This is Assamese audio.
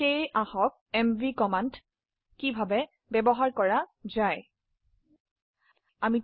সেয়ে কিভাবে এমভি কমান্ডেৰ ব্যবহাৰ দেখে নেওয়া যাক